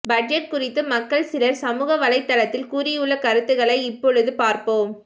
budget குறித்து மக்கள் சிலர் சமூகவலைதளத்தில் கூறியுள்ள கருத்துக்களை இப்பொழுது பார்ப்போம்